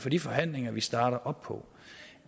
for de forhandlinger vi starter op på